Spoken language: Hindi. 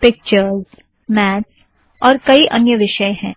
पिक्चरज़ मैथ्स मैत्स और कई अन्य विषय हैं